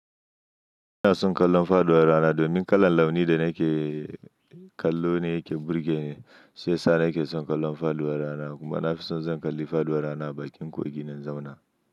Ina son kallon faduwar rana don min kalan launi da na ke kallo ne yake burge ni, sai sa nake son kallon faduwar rana kuma na fi so in zan kalli faduwar rana a bakin kogi ne in zauna.